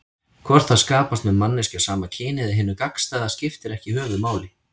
Hvort það skapast með manneskju af sama kyni eða hinu gagnstæða skiptir ekki höfuðmáli.